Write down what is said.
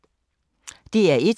DR1